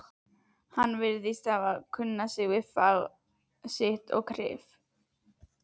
En hann virðist kunna sitt fag og kryf